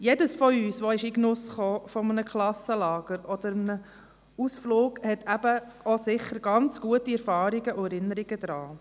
Alle von uns, die in den Genuss eines Klassenlagers kamen oder eines Ausflugs haben ganz sicher gute Erfahrungen und Erinnerungen daran.